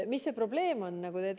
Mis see probleem on?